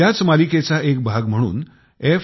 याच मालिकेचा एक भाग म्हणून f